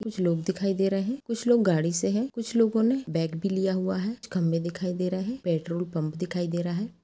कुछ लोग दिखाई दे रहे है कुछ लोग गाड़ी से हैं कुछ लोगो ने बैग भी लिया हुआ हैं कुछ खंभे दिखाई दे रहे पेट्रोल पम्प दिखाई दे रहा हैं ।